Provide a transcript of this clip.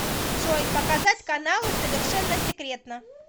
джой показать каналы совершенно секретно